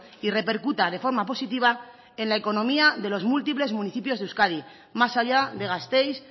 y repercuta de forma positiva en la economía de los múltiples municipios de euskadi más allá de gasteiz